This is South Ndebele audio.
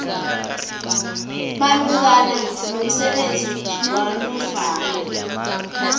malungana nomsebenzi wanofana